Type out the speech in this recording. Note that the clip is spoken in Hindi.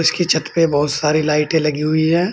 के छत पे बहुत सारी लाइटें लगी हुई है।